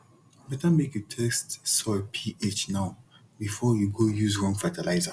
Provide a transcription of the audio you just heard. better make you test soil ph now before you go use wrong fertilizer